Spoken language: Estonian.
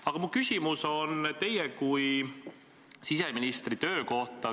Aga minu küsimus on teie kui siseministri töö kohta.